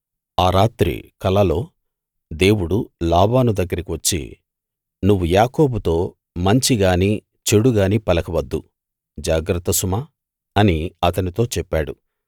ఆ రాత్రి కలలో దేవుడు లాబాను దగ్గరికి వచ్చి నువ్వు యాకోబుతో మంచి గానీ చెడు గానీ పలకవద్దు జాగ్రత్త సుమా అని అతనితో చెప్పాడు